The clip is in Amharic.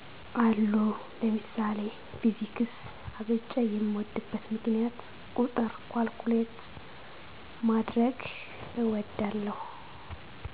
አሉ ለምሳሌ ፊዚክስ አብልጨ የምድበት ምክንያት ቁጥር ካልኩሌት ማድረግ እወዳለሁ